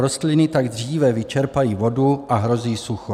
Rostliny tak dříve vyčerpají vodu a hrozí sucho.